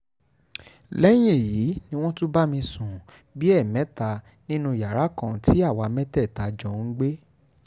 lẹ́yìn èyí ni wọ́n tún bá mi sùn bíi ẹ̀ẹ̀mẹta nínú yàrá kan tí àwa mẹ́tẹ̀ẹ̀ta jọ ń gbé